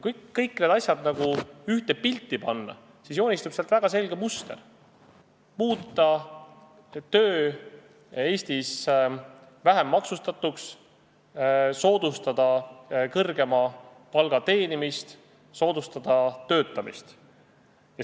Kui kõik need asjad ühte pilti panna, siis joonistub sealt väga selge muster: muuta töö Eestis vähem maksustatuks, soodustada kõrgema palga teenimist, soodustada töötamist.